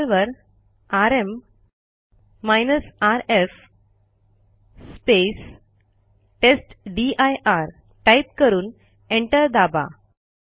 टर्मिनलवर R M rf testdir type करून enter दाबा